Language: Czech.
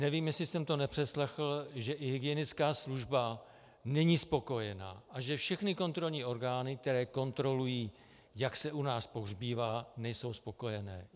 Nevím, jestli jsem to nepřeslechl, že i hygienická služba není spokojena a že všechny kontrolní orgány, které kontrolují, jak se u nás pohřbívá, nejsou spokojené.